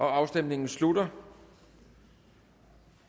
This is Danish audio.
afstemningen slutter